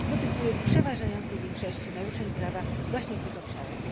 dotyczyły w przeważającej większości naruszeń prawa właśnie w tych obszarach.